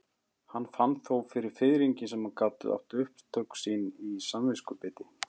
Hann fann þó fyrir fiðringi sem gat átt upptök sín í samviskubiti.